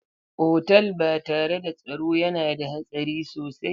Otal ba tare da tsaro yana da hatsari sosai.